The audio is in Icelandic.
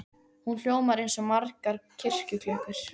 Hún hljómar eins og margar kirkjuklukkur.